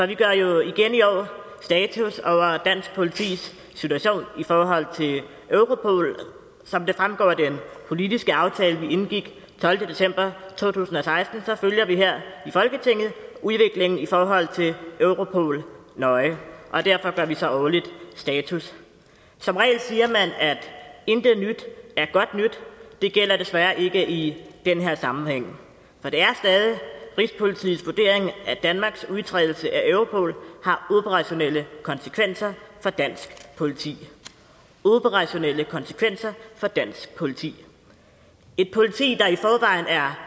vi gør jo igen i år status over dansk politis situation i forhold til europol som det fremgår af den politiske aftale vi indgik den tolvte december to tusind og seksten følger vi her i folketinget udviklingen i forhold til europol nøje og derfor gør vi så årligt status som regel siger man at intet nyt er godt nyt det gælder desværre ikke i den her sammenhæng for det er stadig rigspolitiets vurdering at danmarks udtrædelse af europol har operationelle konsekvenser for dansk politi operationelle konsekvenser for dansk politi et politi der i forvejen er